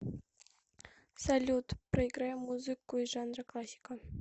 салют проиграй музыку из жанра классика